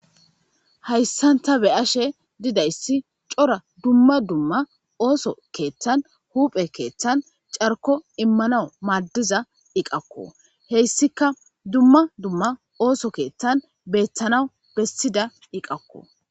Hayssanta be ashe didayssi cora dumma dumma ooso keeththan huuphe keeththan carko immanawu maaddiza iqakko heyssika dumma dumma ooso keeththan beethtanaw bessida iqakko.